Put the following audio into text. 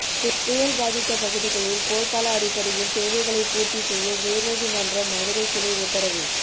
புயல் பாதித்த பகுதிகளில் போர்க்கால அடிப்படையில் தேவைகளை பூர்த்தி செய்ய உயர்நீதிமன்ற மதுரை கிளை உத்தரவு